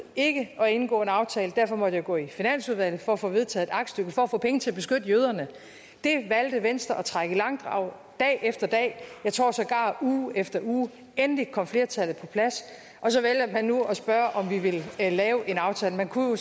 ikke at indgå en aftale derfor måtte jeg gå i finansudvalget for at få vedtaget et aktstykke for at få penge til at beskytte jøderne det valgte venstre at trække i langdrag dag efter dag jeg tror sågar uge efter uge endelig kom flertallet på plads og så vælger man nu at spørge om vi vil lave en aftale man kunne jo